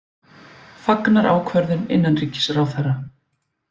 Fagnar ákvörðun innanríkisráðherra